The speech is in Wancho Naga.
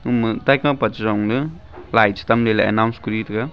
ima taikapa chejung le lai chetam le announced kori tega.